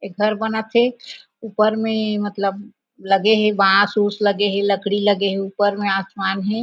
एक घर बनत थे ऊपर में मतलब लगे हे बांस वुस लगे हे लकड़ी लगे हे ऊपर में आसमान हे।